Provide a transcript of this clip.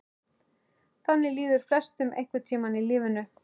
Þannig líður flestum einhvern tíma í lífinu.